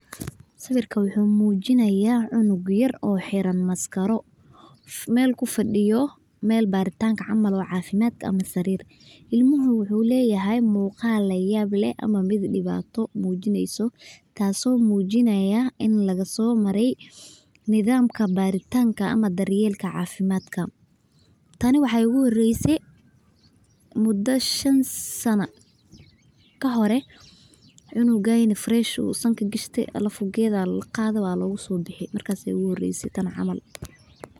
Sawirkan wuxuu mujinaya cunug yar oo xiran maskaro meel kufadiyo meel baritank camal oo cafimaad ama sarirta, tani waxee igu horeyse cunugayna furash ayu sanka gashade kadiib waa lagu sobixi markas aya igu horese tan camal.